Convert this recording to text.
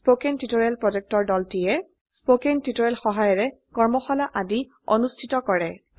কথন শিক্ষণ প্ৰকল্পৰ দলটিয়ে কথন শিক্ষণ সহায়িকাৰে কৰ্মশালা আদি অনুষ্ঠিত কৰে